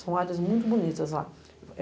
São áreas muito bonitas lá.